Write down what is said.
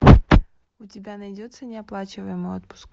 у тебя найдется неоплачиваемый отпуск